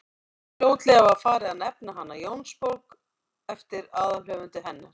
fljótlega var farið að nefna hana jónsbók eftir aðalhöfundi hennar